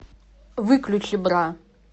выключи бра